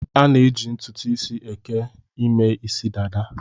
A na-eji ntutu isi eke eme isi dada